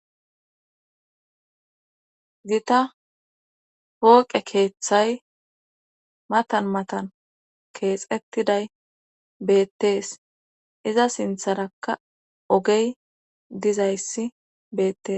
gita pooqe keeththay matan matan keexettiday beettees iza sintharakka ogey dizayssi beettes